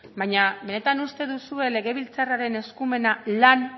baina benetan uste duzue legebiltzarraren eskumena lan